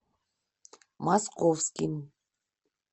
московским